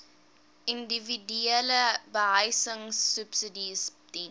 individuele behuisingsubsidies diens